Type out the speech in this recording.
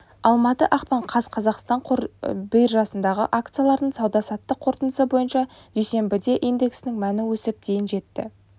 алматы ақпан қаз қазақстан қор биржасындағы акциялардың сауда-саттық қорытындысы бойынша дүйсенбіде индексінің мәні өсіп дейін жетті